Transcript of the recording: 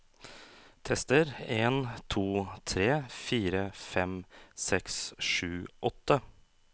Tester en to tre fire fem seks sju åtte